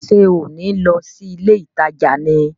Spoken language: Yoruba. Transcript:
Ṣé ò ní lọ sí ilé ìtajà ni?